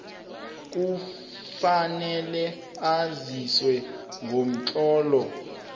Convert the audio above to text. kufanele aziswe ngomtlolo